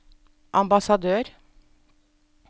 ambassadør